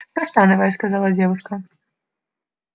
каштановая сказала девушка